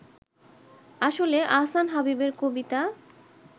আসলে আহসান হাবীবের কবিতা